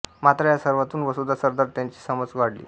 मात्र या सर्वांतून वसुधा सरदार यांची समज वाढली